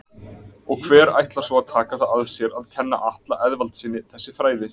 Og hver ætlar svo að taka það að sér að kenna Atla Eðvaldssyni þessi fræði?